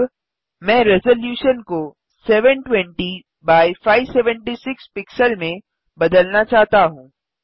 अब मैं रेज़लूशन को 720 एक्स 576 पिक्सल में बदलना चाहता हूँ